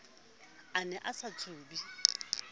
a ne a sa tsube